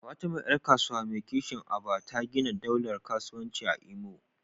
Fatima, ’yar kasuwa mai kishin Aba, ta gina daular kasuwanci a Imo.